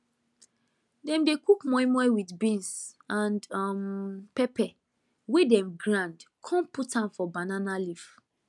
dem dey cook moi moi with beans and um pepper wey dem grind con put am for banana leaf